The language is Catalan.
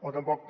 o tampoc